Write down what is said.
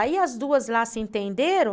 Aí as duas lá se entenderam.